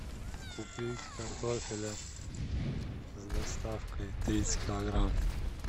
купить картофеля с доставкой тридцать килограмм